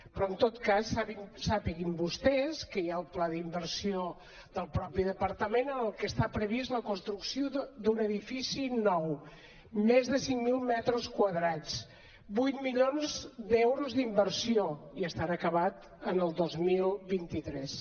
però en tot cas sàpiguen vostès que hi ha el pla d’inversió del propi departament en el que està prevista la construcció d’un edifici nou més de cinc mil metres quadrats vuit milions d’euros d’inversió i estarà acabat en el dos mil vint tres